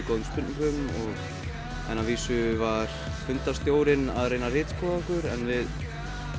góðum spurningum en að vísu var að reyna að ritskoða okkur en við